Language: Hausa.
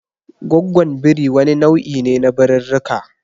Goggwon birii wani nau'i ne na birirrika.